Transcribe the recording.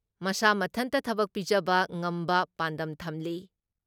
ꯃꯁꯥ ꯃꯊꯟꯇ ꯊꯕꯛ ꯄꯤꯖꯕ ꯉꯝꯕ ꯄꯥꯟꯗꯝ ꯊꯝꯂꯤ ꯫